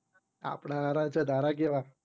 આપડે હારા છે તારા કેવા